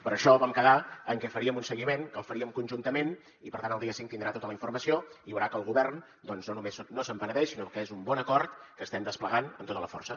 per això vam quedar en que faríem un seguiment que el faríem conjuntament i per tant el dia cinc tindrà tota la informació i veurà que el govern doncs no només no se’n penedeix sinó que és un bon acord que estem desplegant amb tota la força